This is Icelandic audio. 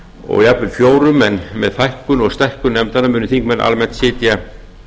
og jafnvel fjórum en með fækkun og stækkun nefnda munu þingmenn almennt sitja